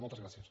moltes gràcies